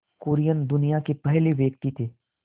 कुरियन दुनिया के पहले व्यक्ति थे